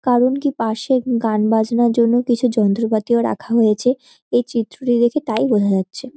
কারন কী পাশে গান বাজনার জন্য কিছু যন্ত্রপাতিও রাখা হয়েছে। এই চিত্রটি দেখে তাই বোঝা হচ্ছে।